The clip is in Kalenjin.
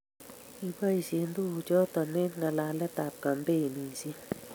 Kiboishe tuguk chotok eng' ngalalet ak kampeinishek